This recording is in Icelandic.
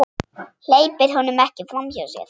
Hleypir honum ekki framhjá sér.